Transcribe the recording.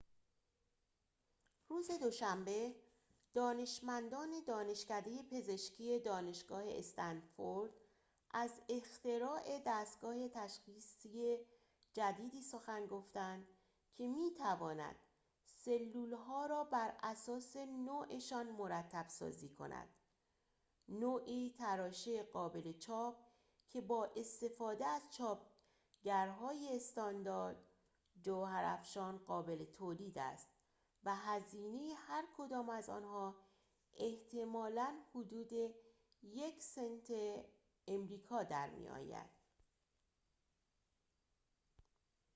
روز دوشنبه دانشمندان دانشکده پزشکی دانشگاه استنفورد از اختراع دستگاه تشخیصی جدیدی سخن گفتند که می‌تواند سلول‌ها را براساس نوعشان مرتب‌سازی کند نوعی تراشه قابل چاپ که بااستفاده از چاپگرهای استاندارد جوهرافشان قابل تولید است و هزینه هرکدام از آنها احتمالاً حدود یک سنت آمریکا در می‌آید